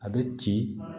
A bɛ ci